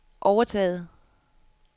overtaget